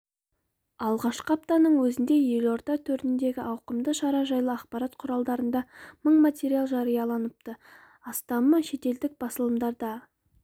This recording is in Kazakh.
алғашқы аптаның өзінде елорда төріндегі ауқымды шара жайлы ақпарат құралдарында мың материал жарияланыпты астамы шетелдік басылымдардарда